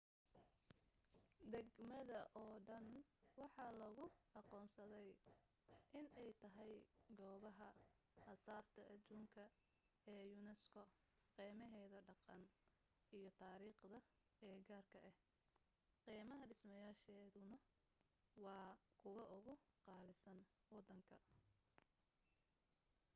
degmada oo dhan waxa loogu aqoonsaday inay tahay goobaha asaarta adduunka ee unesco qiimaheeda dhaqan iyo taariikheed ee gaarka ah qiimaha dhismayaasheeduna waa kuwa ugu qaalisan waddanka